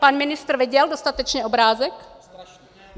Pan ministr viděl dostatečně obrázek?